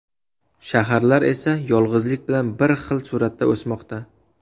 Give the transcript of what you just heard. Shaharlar esa yolg‘izlik bilan bir xil sur’atda o‘smoqda.